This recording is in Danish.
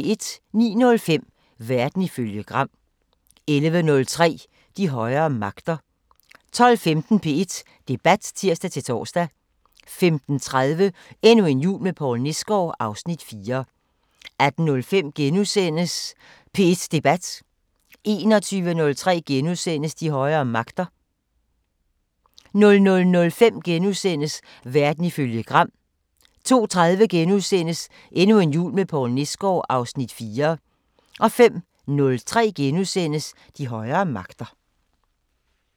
09:05: Verden ifølge Gram 11:03: De højere magter 12:15: P1 Debat (tir-tor) 15:30: Endnu en jul med Poul Nesgaard (Afs. 4) 18:05: P1 Debat *(tir-tor) 21:03: De højere magter * 00:05: Verden ifølge Gram * 02:30: Endnu en jul med Poul Nesgaard (Afs. 4)* 05:03: De højere magter *